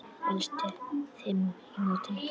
Efstu fimm í mótinu